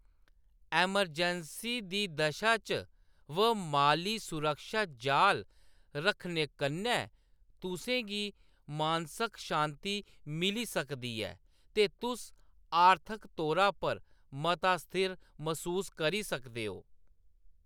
Emergency दी दशा च व माली सुरक्षा जाल रक्खने कन्नै तुसें गी मानसक शान्ति मिली सकदी ऐ ते तुस आर्थक तौरा पर मता स्थिर मसूस करी सकदे हो।